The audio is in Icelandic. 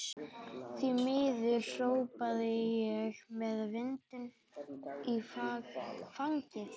Því miður, hrópa ég með vindinn í fangið.